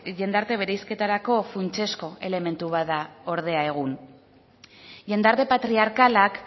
jendarte bereizketarako funtsezko elementu bat da ordea egun jendarte patriarkalak